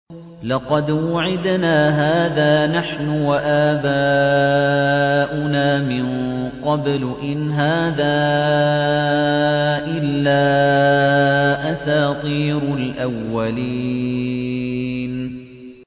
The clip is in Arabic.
لَقَدْ وُعِدْنَا هَٰذَا نَحْنُ وَآبَاؤُنَا مِن قَبْلُ إِنْ هَٰذَا إِلَّا أَسَاطِيرُ الْأَوَّلِينَ